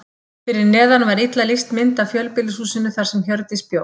Fyrir neðan var illa lýst mynd af fjölbýlishúsinu þar sem Hjördís bjó.